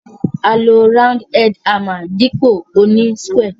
A lo round head hammer dípò oní square